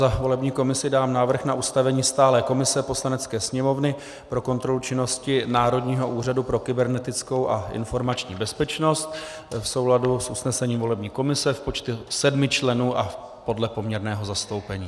Za volební komisi dám návrh na ustavení stálé komise Poslanecké sněmovny pro kontrolu činnosti Národního úřadu pro kybernetickou a informační bezpečnost v souladu s usnesením volební komise v počtu sedmi členů a podle poměrného zastoupení.